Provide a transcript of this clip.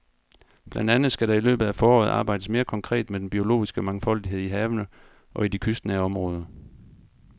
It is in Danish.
Blandt andet skal der i løbet af foråret arbejdes mere konkret med den biologiske mangfoldighed i havene og i de kystnære områder.